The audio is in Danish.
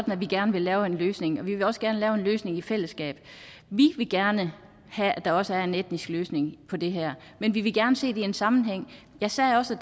at vi gerne vil lave en løsning og vi vil også gerne lave en løsning i fællesskab vi vil gerne have at der også er en etnisk løsning på det her men vi vil gerne se det i en sammenhæng jeg sagde også